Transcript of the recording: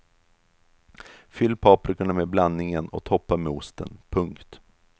Fyll paprikorna med blandningen och toppa med osten. punkt